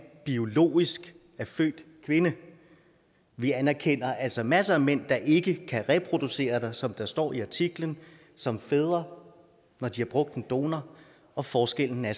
biologisk er født kvinde vi anerkender altså masser af mænd der ikke kan reproducere som der står i artiklen som fædre når de har brugt en donor og forskellen er